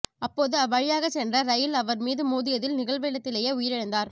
அப்போது அவ்வழியாகச் சென்ற ரயில் அவா் மீது மோதியதில் நிகழ்விடத்திலேயே உயிரிழந்தாா்